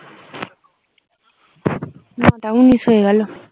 নয়টা উনিশ হয়ে গেল